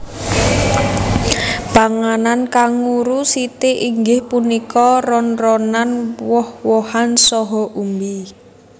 Panganan kanguru siti inggih punika ron ronan woh wohan saha umbi